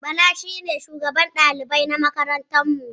Bala shine shugaban dalibai na makarantar mu